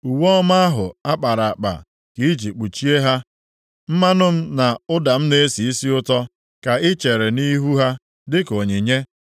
Uwe ọma ahụ a kpara akpa ka i ji kpuchie ha. Mmanụ m na ụda m na-esi isi ụtọ ka ị chere nʼihu ha dịka onyinye.